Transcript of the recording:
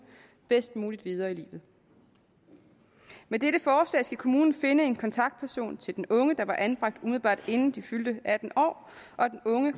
bedst muligt videre i livet med dette forslag skal kommunen finde en kontaktperson til den unge der var anbragt umiddelbart inden den unge fyldte atten år og den unge